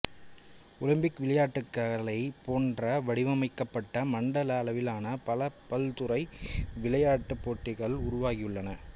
Olympic விளையாட்டுக்களைப் போன்றே வடிவமைக்கப்பட்ட மண்டல அளவிலான பல பல்துறை விளையாட்டுப்போட்டிகள் உருவாகியுள்ளன